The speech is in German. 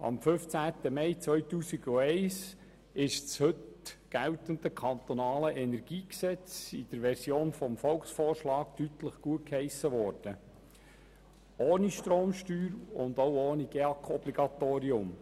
Am 15. Mai 2011 wurde das heute geltende KEnG in der Version des Volksvorschlags deutlich gutgeheissen, ohne Stromsteuer und ohne GEAK-Obligatorium.